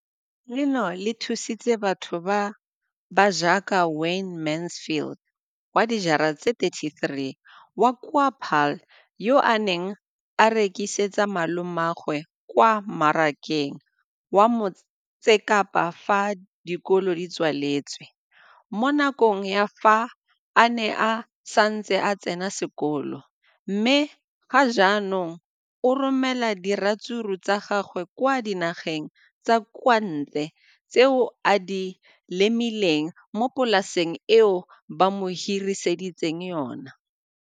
Leno le thusitse batho ba ba jaaka Wayne Mansfield, 33, wa kwa Paarl, yo a neng a rekisetsa malomagwe kwa Marakeng wa Motsekapa fa dikolo di tswaletse, mo nakong ya fa a ne a santse a tsena sekolo, mme ga jaanong o romela diratsuru tsa gagwe kwa dinageng tsa kwa ntle tseo a di lemileng mo polaseng eo ba mo hiriseditseng yona.